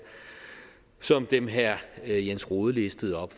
som dem herre jens rohde listede op